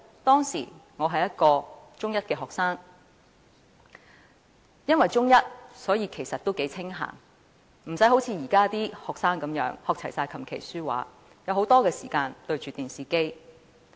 當時，我是一名中一學生，因為就讀中一，所以也頗清閒，無須像現時的學生般學習琴、棋、書、畫，可以有很多時間看電視。